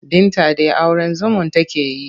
Binta dai auren zumun take so.